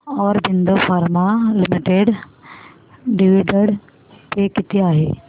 Aurobindo pharma limited dividend pay किती आहे